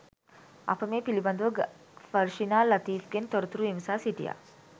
අප මේ පිළිබඳව ෆර්ෂිනා ලතීෆ්ගෙන් තොරතුරු විමසා සිටියා